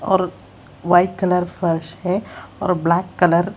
और white colour पर हें और ब्लैक कलर --